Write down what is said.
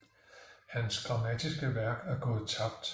Hans grammatiske værk er gået tabt